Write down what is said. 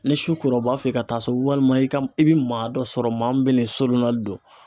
Ni su kora , u b'a f'i ye i ka taa so, walima i ka i bi maa dɔ sɔrɔ maa min bɛ ni sorona don.